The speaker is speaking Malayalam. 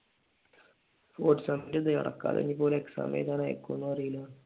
ഫോർത്ത് സെമ്മിന്റെ അത് നടക്കാതെ ഇനിയിപ്പോ അവര് exam എഴുതാൻ അയക്കുവൊന്നും അറിയുല്ല